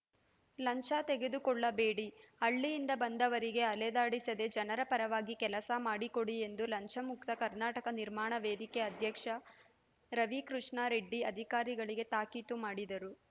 ಲಂಚ ತೆಗೆದುಕೊಳ್ಳಬೇಡಿ ಹಳ್ಳಿಯಿಂದ ಬಂದವರಿಗೆ ಅಲೆದಾಡಿಸದೆ ಜನರ ಪರವಾಗಿ ಕೆಲಸ ಮಾಡಿಕೊಡಿ ಎಂದು ಲಂಚಮುಕ್ತ ಕರ್ನಾಟಕ ನಿರ್ಮಾಣ ವೇದಿಕೆ ಅಧ್ಯಕ್ಷ ರವಿಕೃಷ್ಣಾ ರೆಡ್ಡಿ ಅಧಿಕಾರಿಗಳಿಗೆ ತಾಕೀತು ಮಾಡಿದರು